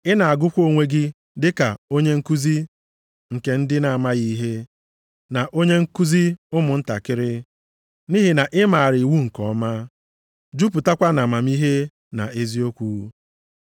ị na-agụkwa onwe gị dịka onye nkuzi nke ndị na-amaghị ihe, na onye nkuzi ụmụntakịrị, nʼihi na ị maara iwu nke ọma, jupụtakwa nʼamamihe na eziokwu.